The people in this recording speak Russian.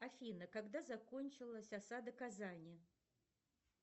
афина когда закончилась осада казани